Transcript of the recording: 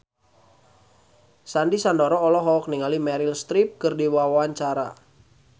Sandy Sandoro olohok ningali Meryl Streep keur diwawancara